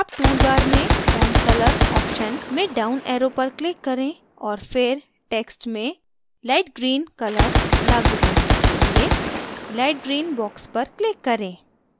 अब toolbar में font color option में down arrow पर click करें और फिर text में light green color लागू करने के लिए light green box पर click करें